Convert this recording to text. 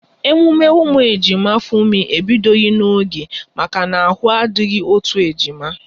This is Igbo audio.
Emume ụmụ ejima Funmi ebidoghi n'oge maka na ahụ adịghị otu ejima